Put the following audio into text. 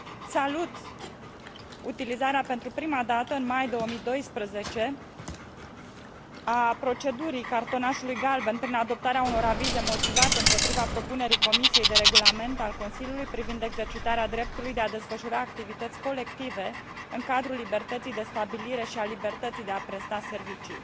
Salut utilizarea pentru prima dată, în mai 2012, a procedurii cartonașului galben, prin adoptarea unor avize motivate împotriva propunerii Comisiei de regulament al Consiliului privind exercitarea dreptului de a desfășura activități colective în cadrul libertății de stabilire și a libertății de a presta servicii.